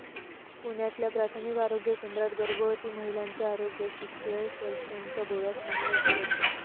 पुण्यातल्या प्राथमिक आरोग्य केंद्रात गर्भवती महिल्यांच्या आरोग्याशी खेळ, कॅल्शिअमच्या गोळ्याच नाही उपलब्ध!